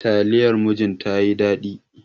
Taliyar murjin tayi daɗi.